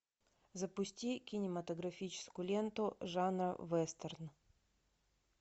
запусти кинематографическую ленту жанра вестерн